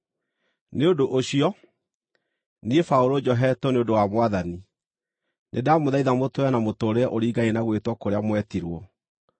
Nĩ ũndũ ũcio, niĩ Paũlũ njohetwo nĩ ũndũ wa Mwathani, nĩndamũthaitha mũtũũre na mũtũũrĩre ũringaine na gwĩtwo kũrĩa mwetirwo.